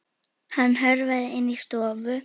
Hann hörfaði inn í stofu.